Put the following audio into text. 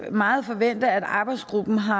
meget forvente at arbejdsgruppen har